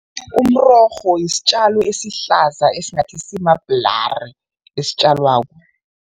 Umrorho yisitjalo esihlaza esingathi simabhulari esitjalwako.